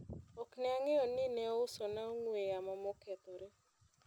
ok ne ang'eyo ni ne ouso na ong'we yamo mokethore